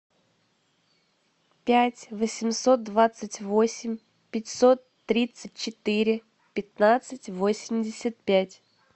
пять восемьсот двадцать восемь пятьсот тридцать четыре пятнадцать восемьдесят пять